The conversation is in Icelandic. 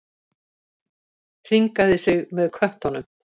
Hringaði sig með köttunum.